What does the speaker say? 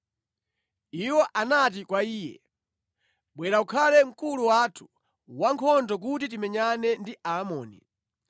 Iwo anati kwa iye, “Bwera ukhale mkulu wathu wankhondo kuti timenyane ndi Amoni.”